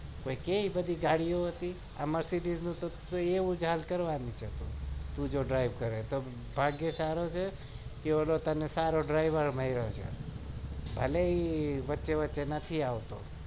એટલે બધી ગાડી હતી તું આ mercedes તું એવું જ હાલ કરવાની હતી તું drive સારું છે કે તને ઓંલો સારો driver મળ્યો